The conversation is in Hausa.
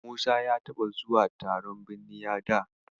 Musa ya taɓa zuwa taron binniya da.